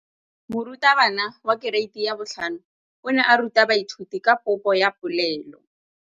Moratabana wa kereiti ya 5 o ne a ruta baithuti ka popô ya polelô.